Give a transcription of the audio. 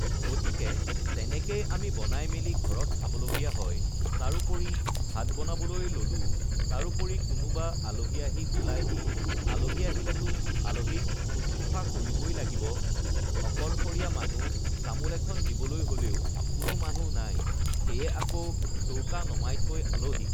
গতিকে তেনেকেই আমি বনাই মেলি ঘৰত খাব লগীয়া হয় তাৰোপৰি ভাত বনাবলৈ ল'লো তাৰোপৰি কোনোবা আলহি আহি উলায়হি আলহি আহিলেতো আলহিক শুশ্ৰূষা কৰিবই লাগিব আকলশৰীয়া মানুহ তামোল এখন দিবলৈ হ'লেও কোনো মানুহ নাই সেয়ে আকৌ চৌকা নমাই থৈ আলহিক